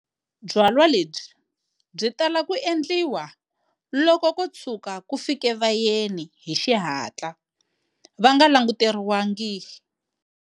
Byalwa lebyi byi tala ku endliwa loko ko tshuka ku fike vayeni hi xihatla va nga languteriwangi.